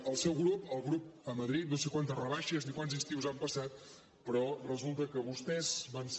el seu grup el grup a madrid no sé quantes rebaixes ni quants estius han passat però resulta que vostès van ser